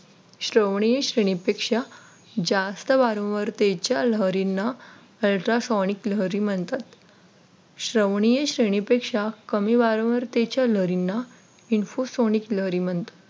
श्रवणीय श्रेणी पेक्षा जास्त वारंवारतेच्या लहरींना Ultra sonic लहरी म्हणतात श्रवणीय कमी वारंवार तेजा लहरींना इन्फो info sonic लहरी म्हणतात.